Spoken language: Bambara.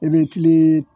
I bɛ tilen